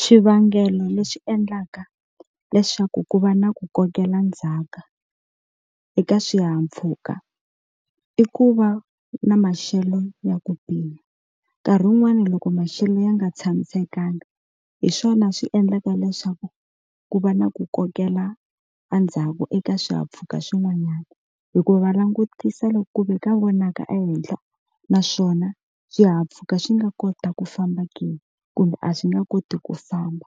Xivangelo lexi endlaka leswaku ku va na ku kokela ndzhaka eka swihahampfhuka i ku va na maxelo ya ku pima nkarhi wun'wani loko maxelo ya nga tshamisekanga hi swona swi endlaka leswaku ku va na ku kokela endzhaku eka swihahampfhuka swin'wanyana hikuva va langutisa loko ku ve ka vonaka ehenhla naswona swihahampfhuka swi nga kota ku famba ke kumbe a swi nga koti ku famba